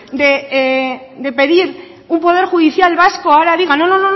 de pedir un poder judicial vasco ahora diga no no